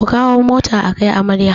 Ku kawo mota akai amarya